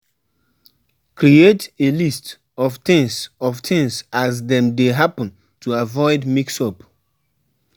Create a list of things of things as dem dey happen to avoid mix up